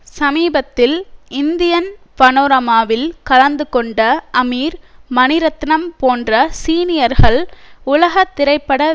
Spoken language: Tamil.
சமீபத்தில் இந்தியன் பனோரமாவில் கலந்துகொண்ட அமீர் மணிரத்னம் போன்ற சீனியர்கள் உலகதிரைப்பட